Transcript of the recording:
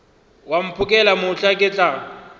wa mphokela mohla ke tla